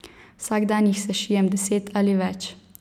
Vsak dan jih sešijem deset ali več.